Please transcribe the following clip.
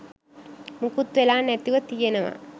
මුකුත් වෙලා නැතුව තියෙනවා.